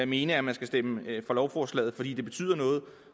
mene at man skal stemme for lovforslaget fordi det betyder noget